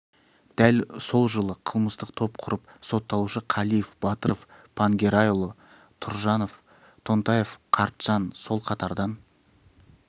дәл сол жылы қылмыстық топ құрып сотталушы қалиев батыров пангерейұлы тұржанов тонтаев қартжан сол қатардан